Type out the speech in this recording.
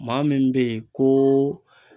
Maa min bɛ yen kooo